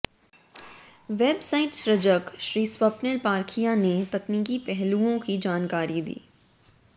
website सृजक श्री स्वप्निल पारखिया ने तकनीकी पहलुओं की जानकारी दी